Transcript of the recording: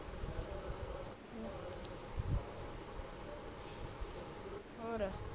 ਹੋਰ